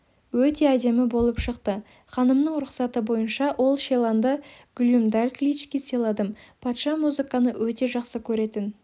өте әдемі болып шықты ханымның рұқсаты бойынша ол шиланды глюмдалькличке сыйладым патша музыканы өте жақсы көретін